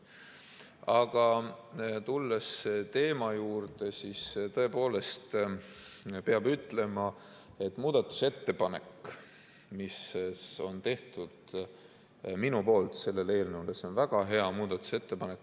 Aga tulles teema juurde, siis peab ütlema, et muudatusettepanek, mis on tehtud minu poolt selle eelnõu kohta, on väga hea muudatusettepanek.